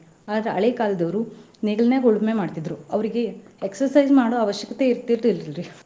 ಆದ್ರ ಹಳೆ ಕಾಲದವ್ರು ನೇಗಿಲನ್ಯಾಗ್ ಉಳುಮೆ ಮಾಡ್ತಿದ್ರು ಅವ್ರಿಗೆ exercise ಮಾಡೊ ಅವಶ್ಯಕತೆ ಇರ್ತಿರ್ಲಿಲ್ರಿ.